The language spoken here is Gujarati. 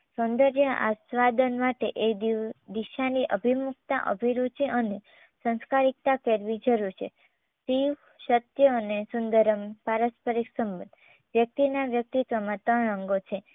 સૌંદર્ય આસ્વાદન માટે એ દીવ દિશાની અભિમુખતા અભિરુચિ અને સંસ્કારિકતા કરવી જરૂર છે. શિવ સત્ય અને સુંદરમ્ પારસ પરિશ્રમ વ્યક્તિના વ્યક્તિત્વમાં ત્રણ અંગો છે